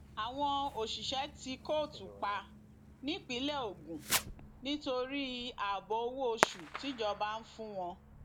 àwọn òṣìṣẹ tí kóòtù pa nípínlẹ ogun nítorí ààbọ owó oṣù tíjọba ń fún wọn